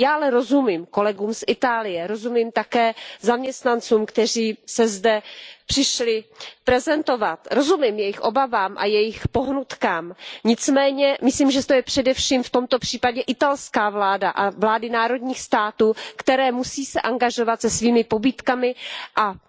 Já ale rozumím kolegům z Itálie, rozumím také zaměstnancům, kteří se sem přišli prezentovat, rozumím jejich obavám a jejich pohnutkám, nicméně myslím, že to je především v tomto případě italská vláda a vlády národních států, které se musí angažovat se svými pobídkami a